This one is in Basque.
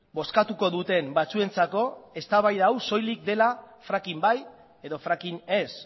bozkatuko duten batzuentzako eztabaida hau soilik dela fracking bai edo fracking ez